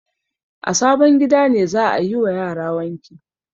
A sabon gida ne za a yi wa yara wanki.